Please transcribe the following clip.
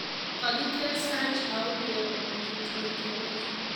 Kakiter Serge Aurier komachut Uingereza.